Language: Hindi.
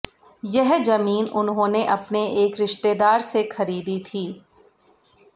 यह जमीन उन्होंने अपने एक रिश्तेदार से खरीदी थी